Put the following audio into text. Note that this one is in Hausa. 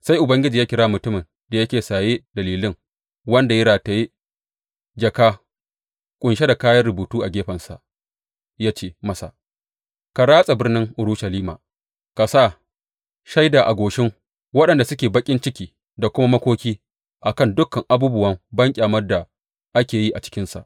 Sai Ubangiji ya kira mutumin da yake saye da lilin wanda ya rataye jaka ƙunshe da kayan rubutu a gefensa ya ce masa, Ka ratsa birnin Urushalima ka sa shaida a goshin waɗanda suke baƙin ciki da kuma makoki a kan dukan abubuwan banƙyamar da ake yi a cikinsa.